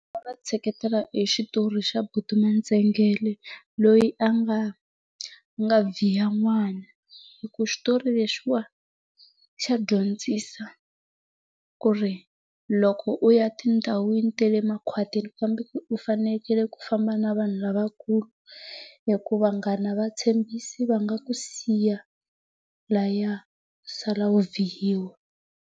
Va tsheketela hi xitori xa buti N'waNtsengele loyi a nga nga n'wana hi ku xitori lexi wa xa dyondzisa ku ri loko u ya tindhawini ta le makhwatini u fanekele ku famba na vanhu lavakulu hi ku vanghana a va tshembisi va nga ku siya laya u sala u .